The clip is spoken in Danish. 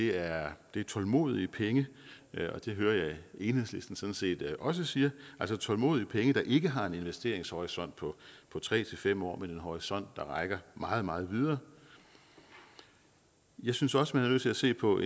er tålmodige penge og det hører jeg at enhedslisten sådan set også siger altså tålmodige penge der ikke har en investeringshorisont på tre fem år men en horisont der rækker meget meget videre jeg synes også man er nødt til at se på